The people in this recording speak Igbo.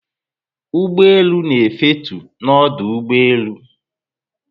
Ụgbọelu na efetu na ọdụ ụgbọelu